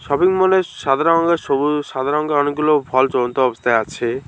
শপিংমলে সাধারণত সবুজ সাদা রঙের অনেকগুলো জ্বলন্ত অবস্থায় আছে।